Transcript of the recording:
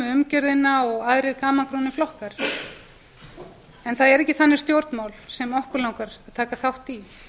umgjörðina og aðrir gamalgrónir flokkar það eru ekki þannig stjórnmál sem okkur langar að taka þátt í